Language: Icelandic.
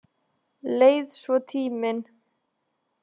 Leið svo tíminn.